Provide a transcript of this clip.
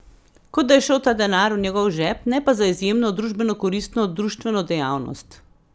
Kot da je šel ta denar v njegov žep, ne pa za izjemno družbenokoristno društveno dejavnost!